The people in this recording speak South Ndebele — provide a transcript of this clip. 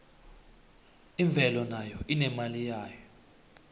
imvelo nayo inemali yayo